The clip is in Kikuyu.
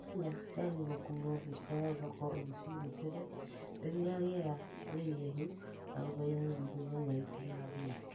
Nyanya ciagĩrĩirwo gũkuo itwarwo thoko rũcinĩ tene rĩrĩa rĩera rĩihehu na ũmenyereri nĩguo nyanya itigathũke